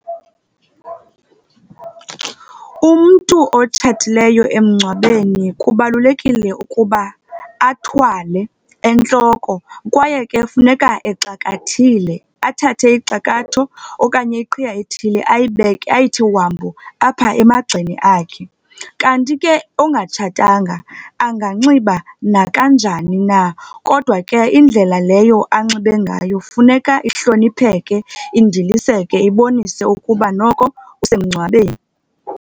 Umntu otshatileyo emngcwabeni kubalulekile ukuba athwale entloko kwaye ke kufuneka exakathile. Athathe ixakatho okanye iqhiya ethile ayibeke, ayithi wambu, apha emagxeni akhe. Kanti ke ongatshatanga anganxiba nakanjani na, kodwa ke indlela leyo anxibe ngayo kufuneka ihlonipheke, indiliseke, ibonise ukuba noko usemngcwabeni.